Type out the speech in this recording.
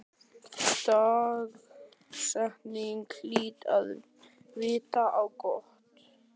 Dagsetningin hlyti að vita á gott.